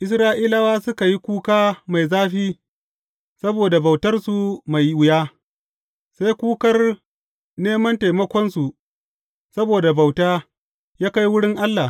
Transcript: Isra’ilawa suka yi kuka mai zafi saboda bautarsu mai wuya, sai kukar neman taimakonsu saboda bauta, ya kai wurin Allah.